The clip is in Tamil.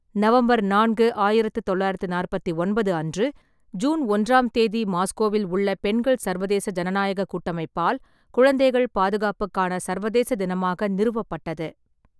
நவம்பர் நான்கு , ஆயிரத்து தொள்ளாயிரத்து நாற்பத்தி ஒன்பது அன்று, ஜூன் ஒன்றாம் தேதி மாஸ்கோவில் உள்ள பெண்கள் சர்வதேச ஜனநாயகக் கூட்டமைப்பால் குழந்தைகள் பாதுகாப்புக்கான சர்வதேச தினமாக நிறுவப்பட்டது.